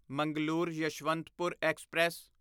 Mangalore Yesvantpur express